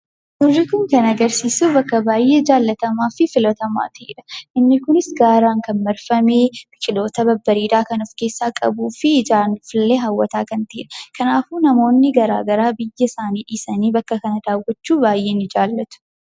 Suurri kun kan agarsiisu bakka baay'ee jaallatamaa fi filatamaa ta'edha. Inni kunis gaaraan kan marfame, biqiloota babbareedaa kan of keessaa qabu, fi ijaan illee hawwisiisaa kan ta’edha. Kanaafiyyuu namoonni gara garaa biyya isaanii dhiisanii bakka kana daawwachuu baay'ee jaallatu.